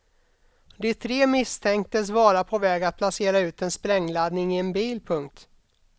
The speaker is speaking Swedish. De tre misstänktes vara på väg att placera ut en sprängladdning i en bil. punkt